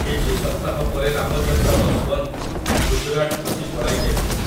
କିଛି ସପ୍ତାହ ପରେ ରାମଚନ୍ଦ୍ର ବସୱନ୍ତ ଗୁଜରାଟ ଖସି ପଳାଇ ଯାଇଥିଲେ ।